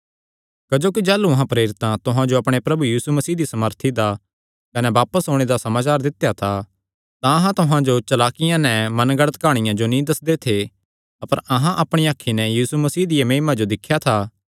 क्जोकि जाह़लू अहां प्रेरितां तुहां जो अपणे प्रभु यीशु मसीह दी सामर्थी दा कने बापस ओणे दा समाचार दित्या था तां अहां तुहां जो चलाकियां नैं मनगढ़ंत काहणियां जो नीं दस्सदे थे अपर अहां अपणियां अखीं नैं यीशु मसीह दिया महिमा जो दिख्या था